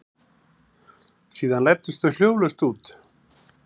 Síðan læddust þau hljóðlaust út.